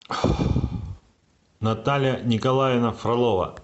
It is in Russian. наталья николаевна фролова